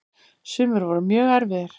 Sumir voru mjög erfiðir.